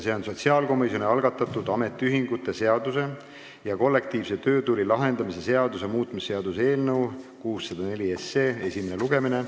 See on sotsiaalkomisjoni algatatud ametiühingute seaduse ja kollektiivse töötüli lahendamise seaduse muutmise seaduse eelnõu esimene lugemine.